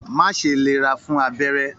Má ṣe lera fún abẹ́rẹ́!